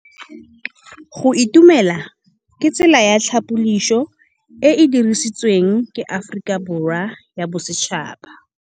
Go itumela ke tsela ya tlhapolisô e e dirisitsweng ke Aforika Borwa ya Bosetšhaba.